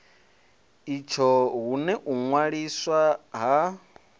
itsho hune u ṅwaliswa ha